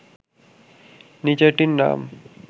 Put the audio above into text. নীচেরটির নাম